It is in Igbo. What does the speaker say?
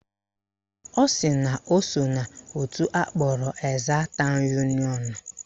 Ọ sị na o so n'òtù akpọrọ Ezza town union a